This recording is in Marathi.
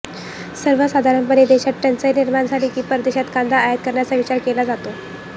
सर्वसाधारणपणे देशांत टंचाई निर्माण झाली की परदेशातून कांदा आयात करण्याचा विचार केला जातो